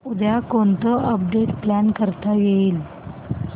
उद्या कोणतं update plan करता येईल